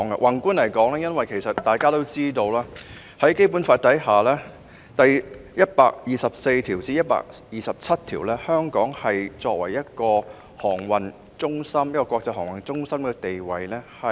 宏觀而言，大家皆知道，《基本法》第一百二十四條至第一百二十七條確立了香港作為國際航運中心的地位。